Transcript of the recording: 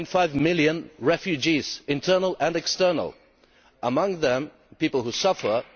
1.5 million refugees, internal and external, among them people who are suffering.